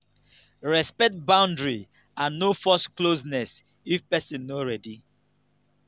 respect boundary and no force closeness if person no ready